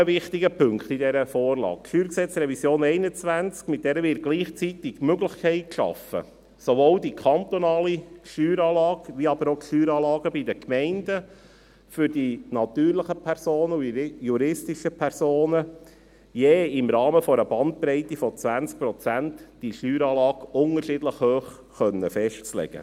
Zu weiteren wichtigen Punkten in dieser Vorlage: Mit der StG-Revision 2021 wird gleichzeitig die Möglichkeit geschaffen, sowohl die kantonale Steueranlage als aber auch die Steueranlagen der Gemeinden für die natürlichen und die juristischen Personen je im Rahmen einer Bandbreite von 20 Prozent unterschiedlich hoch zu festlegen.